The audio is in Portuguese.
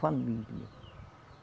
Família.